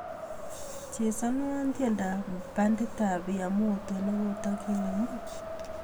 Chesanwon tyendab banditab yamoto negotigenemu